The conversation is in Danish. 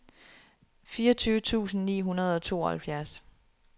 fireogtyve tusind ni hundrede og tooghalvfjerds